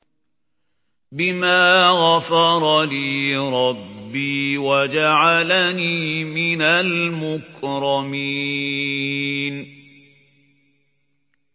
بِمَا غَفَرَ لِي رَبِّي وَجَعَلَنِي مِنَ الْمُكْرَمِينَ